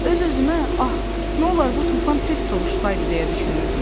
Öz-özümə ah, nolur bu tufan tez sovuşsaydı deyə düşünürdüm.